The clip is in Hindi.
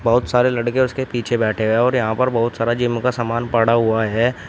बहोत सारे लड़के उसके पीछे बैठे हैं और यहां पर बहुत सारा जिम का सामान पड़ा हुआ है।